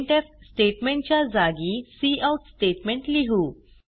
printf statement च्या जागी cout statement लिहू